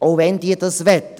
auch wenn diese das möchten.